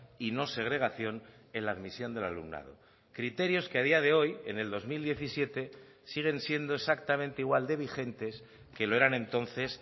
y no segregación en la admisión del alumnado criterios que a día de hoy en el dos mil diecisiete siguen siendo exactamente igual de vigentes que lo eran entonces